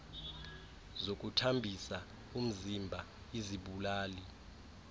zokuthambisa umziba izibulali